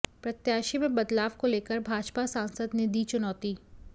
प्रत्याशी में बदलाव को लेकर भाजपा सांसद ने दी चुनौती